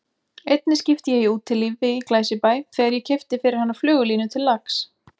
Einni skipti ég í Útilífi í Glæsibæ þegar ég keypti fyrir hana flugulínu til lax